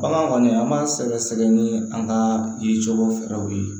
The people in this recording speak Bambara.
Bagan kɔni an b'a sɛgɛ sɛgɛ ni an ka yirituru fɛɛrɛw ye